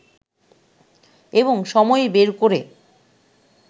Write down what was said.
এবং সময় বের করে